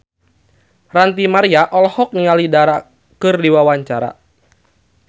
Ranty Maria olohok ningali Dara keur diwawancara